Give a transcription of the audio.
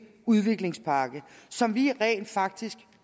udviklingspakke som vi rent faktisk